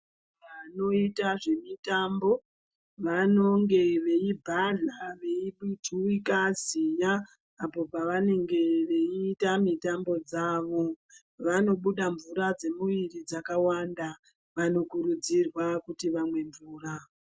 Vanoite zvemitambo vanonge veibhadhla veijuwika ziya apo pavanenge veiita mitambo dzavo vanobuda mvura dzemwiri dzakawanda. Vanokurudzirwa kuti vamwe mvura.